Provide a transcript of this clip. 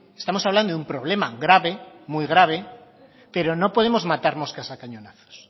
estamos hablando de un problema grave muy grave pero no podemos matar moscas a cañonazos